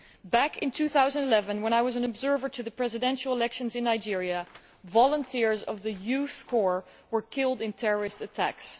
Back in 2011, when I was an observer to the presidential elections in Nigeria, volunteers of the Youth Service Corps were killed in terrorist attacks.